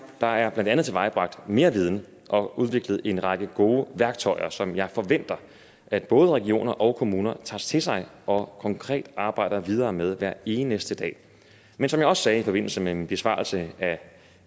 der er tilvejebragt mere viden og udviklet en række gode værktøjer som jeg forventer at både regioner og kommuner tager til sig og konkret arbejder videre med hver eneste dag men som jeg også sagde i forbindelse med min besvarelse af